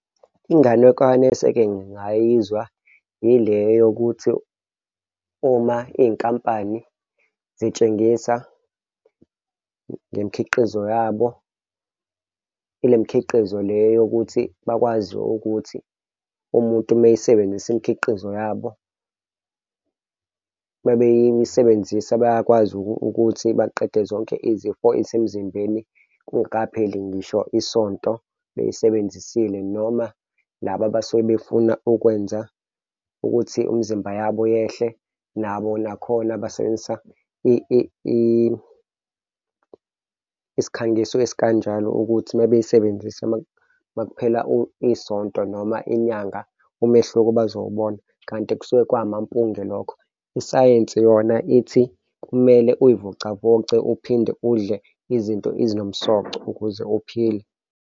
Inganekwane eseke ngayizwa ile yokuthi uma iy'nkampani zitshengisa ngemikhiqizo yabo, ile mkhiqizo le yokuthi bakwazi ukuthi umuntu mayisebenzisa imikhiqizo yabo, uma beyisebenzisa bayakwazi ukuthi baqede zonke izifo ezisemzimbeni kungakapheli ngisho isonto beyisebenzisile noma laba abasuke befuna ukwenza ukuthi imzimba yabo yehle nabo nakhona basebenzisa isikhangiso esikanjalo ukuthi uma beyisebenzisa uma kuphela isonto noma inyanga, umehluko bazowubona kanti kusuke kwamampunge lokho isayensi yona ithi kumele uy'vocavoce uphinde udle izinto ezinomsoco ukuze uphile.